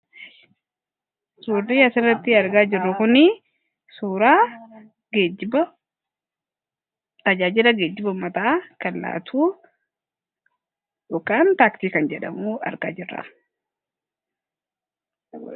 Suurri asirratti argaa jirru kunii suuraa geejjiba tajaajila geejjiba ummataa kan laatu (Taaksii) kan jedhamu argaa jirra.